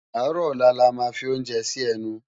Àárò òlá lá má fi óoúnjè si ènú